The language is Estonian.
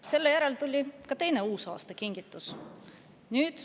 Selle järel tuli ka teine uusaastakingitus.